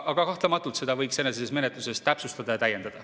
Aga kahtlematult seda võiks edasises menetluses täpsustada ja täiendada.